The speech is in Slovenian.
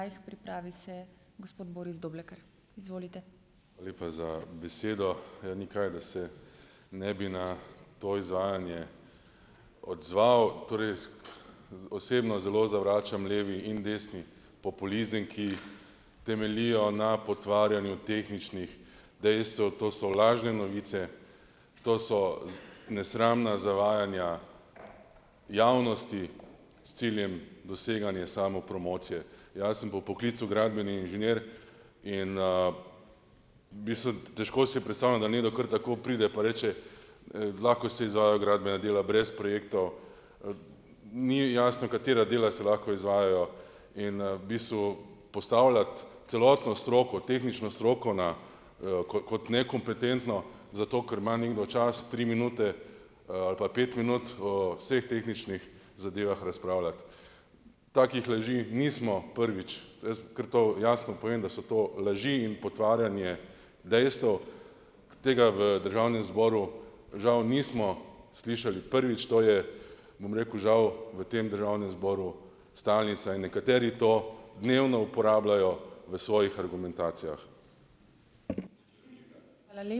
Hvala lepa za besedo. Ja, ni kaj, da se ne bi na to izvajanje odzval. Torej, osebno zelo zavračam levi in desni populizem, ki temeljita na potvarjanju tehničnih dejstev, to so lažne novice, to so nesramna zavajanja javnosti, s ciljem doseganje samopromocije. Jaz sem po poklicu gradbeni inženir in, v bistvu, težko si predstavljam, da nekdo kar tako pride, pa reče, lahko si za gradbena dela brez projektov, ni jasno, katera dela se lahko izvajajo in, v bistvu, postavljati celotno stroko, tehnično stroko na, kot kot nekompetentno, zato ker ima nekdo čas, tri minute, ali pa pet minut, o vseh tehničnih zadevah razpravljati. Takih laži nismo prvič, ker to jasno povem, da so to laži in potvarjanje dejstev. Tega v državnem zboru žal nismo slišali prvič. To je, bom rekel, žal, v tem državnem zboru stalnica in nekateri to dnevno uporabljajo v svojih argumentacijah.